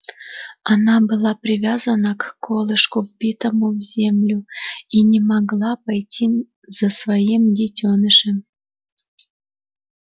она была привязана к колышку вбитому в землю и не могла пойти за своим детёнышем